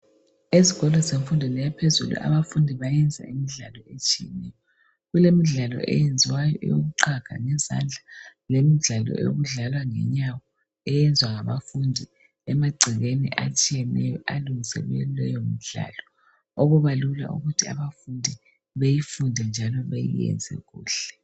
Ezikolo zemfundweni yaphezulu abafundi bayenza imidlalo etshiyeneyo. Kulemidlalo eyenziwayo eyokuqhaga ngezandla lemidlalo yokudlalwa ngenyawo eyenzwa ngabafundi emagcekeni atshiyeneyo alungiselwe leyomidlalo okubalula ukuthi abafundi beyifunde njalo beyenzekuhle